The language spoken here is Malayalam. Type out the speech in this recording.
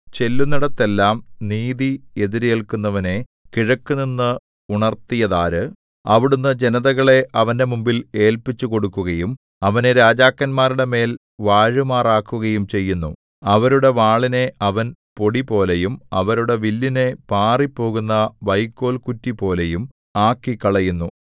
ചെല്ലുന്നെടത്തെല്ലാം നീതി എതിരേല്ക്കുന്നവനെ കിഴക്കുനിന്ന് ഉണർത്തിയതാര് അവിടുന്ന് ജനതകളെ അവന്റെ മുമ്പിൽ ഏല്പിച്ചുകൊടുക്കുകയും അവനെ രാജാക്കന്മാരുടെ മേൽ വാഴുമാറാക്കുകയും ചെയ്യുന്നു അവരുടെ വാളിനെ അവൻ പൊടിപോലെയും അവരുടെ വില്ലിനെ പാറിപ്പോകുന്ന വൈക്കോൽകുറ്റിപോലെയും ആക്കിക്കളയുന്നു